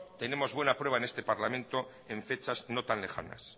tenemos buena prueba en este parlamento en fechas no tan lejanas